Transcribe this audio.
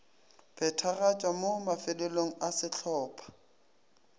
phethagatšwa mo mafelelong a sehlopha